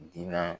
Diina